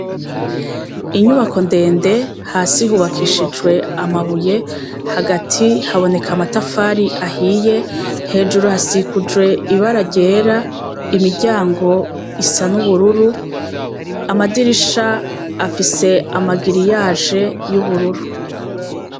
Inyubako ndende, hasi hubakishijwe amabuye, hagati haboneka amatafari ahiye, hejuru hasikujwe ibara ryera, imiryango isa n'ubururu, amadirisha afise amagiriyaje y'ubururu.